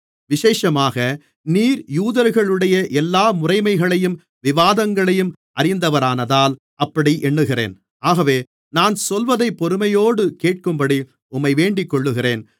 விசேஷமாக நீர் யூதர்களுடைய எல்லாமுறைமைகளையும் விவாதங்களையும் அறிந்தவரானதால் அப்படி எண்ணுகிறேன் ஆகவே நான் சொல்வதைப் பொறுமையோடு கேட்கும்படி உம்மை வேண்டிக்கொள்ளுகிறேன்